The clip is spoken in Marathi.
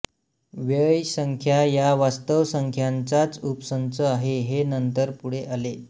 व्यय संख्या या वास्तव संख्यांचाच उपसंच आहे हे नंतर पुढे आले